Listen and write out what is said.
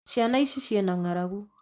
Ciana ici cina ng'aragu